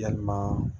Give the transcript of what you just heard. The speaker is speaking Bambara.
Yalima